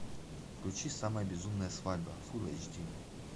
включи самая безумная свадьба фул эйч ди